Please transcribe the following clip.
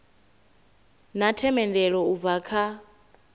na themendelo u bva kha